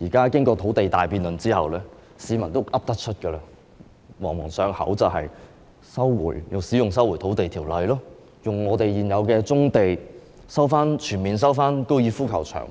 現在經過土地大辯論之後，市民也懂得說了，已經朗朗上口，也就是引用《收回土地條例》、使用現有棕地，以及全面收回高爾夫球場，